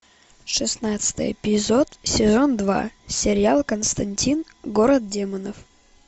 шестнадцатый эпизод сезон два сериал константин город демонов